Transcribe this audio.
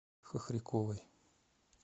хохряковой